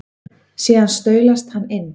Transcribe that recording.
Síðan staulast hann inn.